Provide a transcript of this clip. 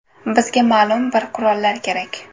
Bizga ma’lum bir qurollar kerak.